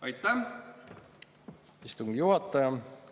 Aitäh, istungi juhataja!